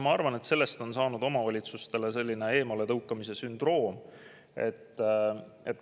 Ma arvan, et sellest on saanud selline omavalitsuste eemaletõukamise sündroom.